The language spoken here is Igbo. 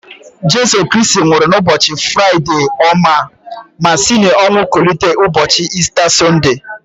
Jesu Kristi nwụrụ na ụbọchi Fraịde ọma ma si n'ọnwụ kulite ụbọchị Ista Sọnde